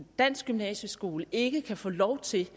dansk gymnasieskole ikke kan få lov til